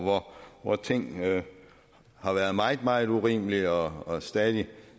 hvor ting har været meget meget urimelige og og stadig